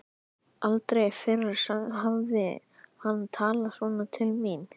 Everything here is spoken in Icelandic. Aldrei fyrr hafði hann talað svona til mín.